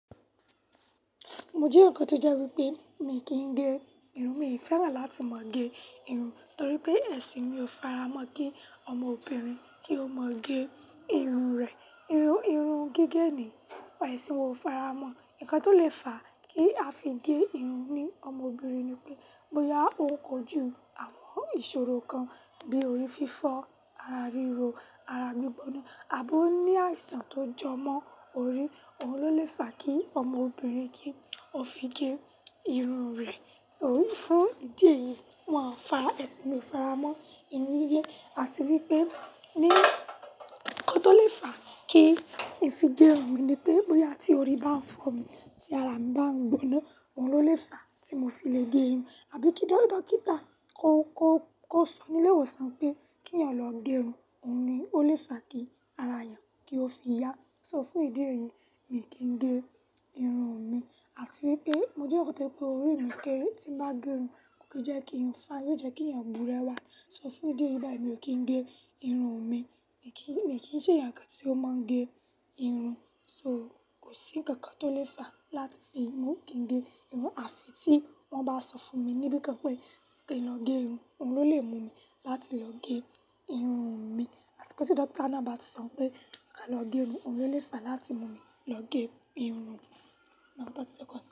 Mo jẹ́ ọ̀kan tó jẹ́ wípé mi kì ń gẹ irun, mi ò fẹ́ràn láti máa gẹ irun torí pé ẹ̀sìn mi ò faramọ́ kí ọmọbìnrin kí ó máa gẹ irun rẹ̀. Irun, irun gígẹ̀ ni, ẹ̀sìn wa ò faramọ́. Ǹkan tó lè fà kí a fi gẹ irun ní ọmọbìnrin ni pé bóyá ó kojú àwọn ìṣòro kan bi orí fífọ́, ara ríro, ara gbígbóná àbó ní àìsàn tó jọ mọ́ orí, òun ló lè fà kí ọmọbìnrin kí ó fi gẹ irun rẹ̀. So fún ìdí èyí, won fà ẹ̀sìn mi ò faramọ́ ìníye àti wípé ní ńkan tó lè fà kí n fi gẹ irun mi ni pé bóyá tí orí bá ń fọ́ mi tí ara mi bá ń gbóná, òun ló lè fà tí mo fi lè gẹ irun àbí kí dókítà kó, kó, kó sọ nílé ìwòsàn pé kínyàn lọ gẹ irun, òun ni ó lè fà kí ara èèyàn kí ó fi yá. So fún ìdí èyí mi kì ń gẹ irun mi àti wípé mo jẹ́ eyan kan tó ye pé orí mi kéré tí ń bá gẹ irun kò kí jẹ́ kín fine, yóò jẹ́ kí èèyàn burewá. So fún ìdí èyí báyìí mi ò kín gẹ irun mi. Mi kì í, mi kì í ṣe ẹ̀yàn kan tí ó máa ń gẹ irun. So kò sí ǹkan kan tó lè fà láti fi mú mi kí n gẹ irun àfi tí wọ́n bá sọ fún mi níbìkan pé kí n lọ gẹ irun, òun ló lè mú mi láti lọ gẹ irun mi. Àti pé tí dókítà náà bá ti sọ pé o ká lọ gẹ irun, òun ló lè fà láti mú mi lọ gẹ irun mi.